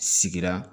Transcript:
Sigira